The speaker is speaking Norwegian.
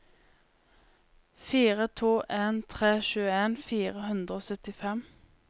fire to en tre tjueen fire hundre og syttifem